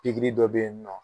Pikiri dɔ bɛ yen nɔ.